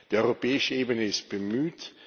Die europäische Ebene ist bemüht.